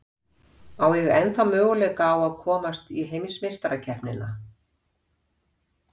Á ég ennþá möguleika á að komast á heimsmeistarakeppnina?